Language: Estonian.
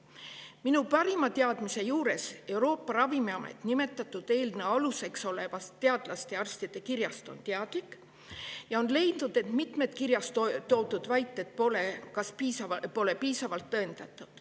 Minu parima teadmise juures Euroopa Ravimiamet nimetatud eelnõu aluseks olevast teadlaste ja arstide kirjast on teadlik ja on leidnud, et mitmed kirjas toodud väited pole piisavalt tõendatud.